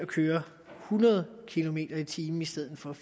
køre hundrede kilometer per time i stedet for